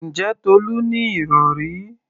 Ǹjẹ́ Tolú ní ìrọ̀rí?